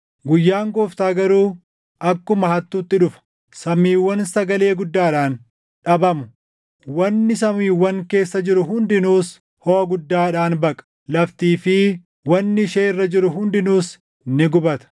Guyyaan Gooftaa garuu akkuma hattuutti dhufa. Samiiwwan sagalee guddaadhaan dhabamu; wanni samiiwwan keessa jiru hundinuus hoʼa guddaadhaan baqa; laftii fi wanni ishee irra jiru hundinuus ni gubata.